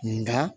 Nga